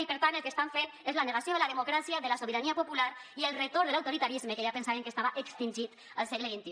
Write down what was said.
i per tant el que estan fent és la negació de la democràcia de la sobirania popular i el retorn de l’autoritarisme que ja pensàvem que estava extingit al segle xxi